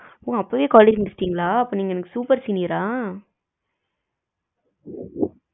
ஓ அப்பவே college முடுச்சுடிங்களா, அப்ப நீங்க எனக்கு super senior ஆ